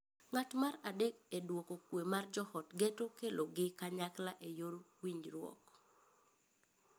Ng’at mar adek e duoko kwe mar joot geto kelogi kanyakla e yor winjruok.